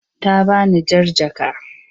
Ta bani jar jaka.